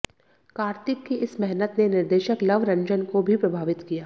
कार्तिक की इस मेहनत ने निर्देशक लव रंजन को भी प्रभावित किया